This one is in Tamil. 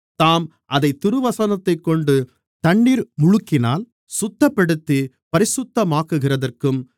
தாம் அதைத் திருவசனத்தைக் கொண்டு தண்ணீர் முழுக்கினால் சுத்தப்படுத்தி பரிசுத்தமாக்குகிறதற்கும்